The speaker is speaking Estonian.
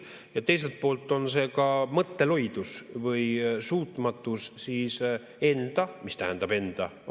Ja teiselt poolt on see ka mõtteloidus või suutmatus enda – mis tähendab enda?